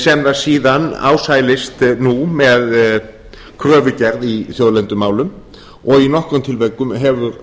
sem það síðan ásælist nú með kröfugerð í þjóðlendumálum og í nokkrum tilvikum